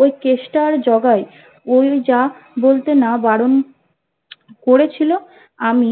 ও কেষ্টা আর জোগাই ওই যা বলতে না বারণ করেছিলো আমি